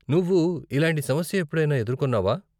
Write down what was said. నువ్వు ఇలాంటి సమస్య ఎప్పుడైనా ఎదుర్కొన్నావా?